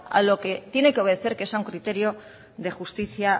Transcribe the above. a lo que tiene que obedecer que es a un criterio de justicia